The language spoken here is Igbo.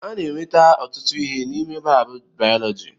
A na-enweta ọtụtụ ihe n'ime laabụ bayọlọji.